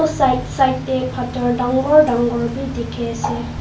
side side pathor danggor danggor dekhi ase.